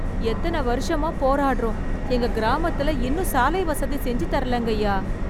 எத்தன வருஷமா போராடுறோம், எங்க கிராமத்துல இன்னும் சாலை வசதி செஞ்சு தரலங்கய்யா.